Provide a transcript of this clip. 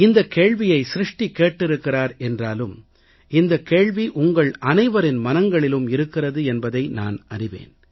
இந்தக் கேள்வியை சிருஷ்டி கேட்டிருக்கிறார் என்றாலும் இந்தக் கேள்வி உங்கள் அனைவரின் மனங்களிலும் இருக்கிறது என்பதை நான் அறிவேன்